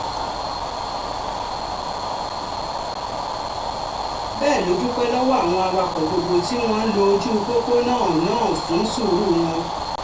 bẹ́ẹ̀ ló dúpẹ́ lọ́wọ́ àwọn awakọ̀ gbogbo tí wọ́n ń lo ojú pópó náà náà fún sùúrù wọn